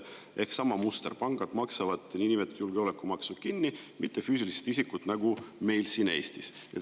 Ehk sama muster: niinimetatud julgeolekumaksu maksavad kinni pangad, mitte füüsilised isikud, nagu meil siin Eestis.